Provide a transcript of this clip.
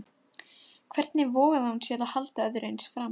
Hvernig vogaði hún sér að halda öðru eins fram?